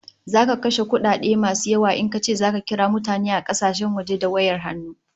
Zaka kashe kudi mai yawa in kace zaka kira mutane a kasashen waje da wayar hannu